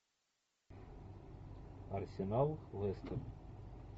арсенал лестер